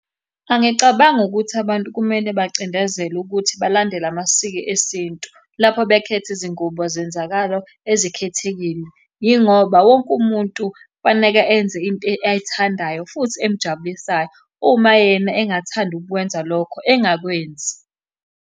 Angicabangi ukuthi abantu kumele bacindezelwe ukuthi balandele amasiko esintu lapho bekhetha izingubo zezenzakalo ezikhethekile, yingoba wonke umuntu kufaneke enze into ayithandayo futhi emujabulisayo. Uma yena engathandi ukukwenza lokho engakwenzi.